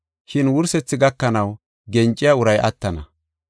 Shin wursethi gakanaw genciya uray attana.